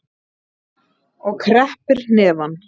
Og kreppir hnefana.